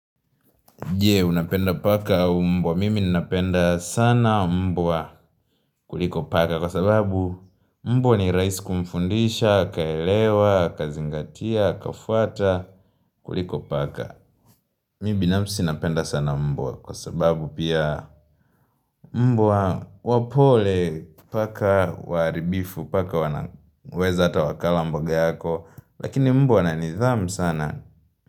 Jee, unapenda paka au mbwa. Mimi ninapenda sana mbwa kuliko paka kwa sababu mbwa ni rais kumfundisha, kaelewa, kazingatia, kafuata, kuliko paka. Mimi binafsi napenda sana mbwa kwa sababu pia mbwa wapole paka waharibifu paka wanaweza ata wakala mboga yako lakini mbwa ana nidhamu sana.